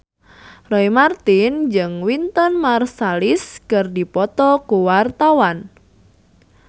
Roy Marten jeung Wynton Marsalis keur dipoto ku wartawan